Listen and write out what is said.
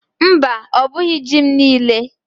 Mba, ọ bughi ji m niile.